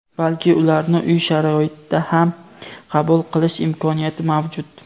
balki ularni uy sharoitida ham qabul qilish imkoniyati mavjud.